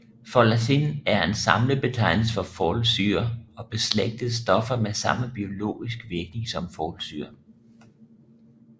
Folacin er en samlebetegnelse for folsyre og beslægtede stoffer med samme biologiske virkning som folsyre